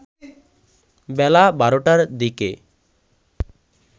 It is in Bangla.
বেলা ১২টার দিকে